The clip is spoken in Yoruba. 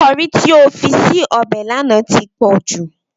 Kọrí tí o fi sí ọbẹ̀ lánàá ti pòjù.